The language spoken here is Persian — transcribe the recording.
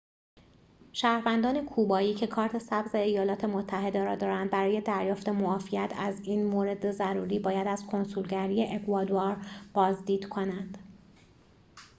شهروندان کوبایی که کارت سبز ایالات متحده را دارند برای دریافت معافیت از این مورد ضروری باید از کنسولگری اکوادور بازدید کنند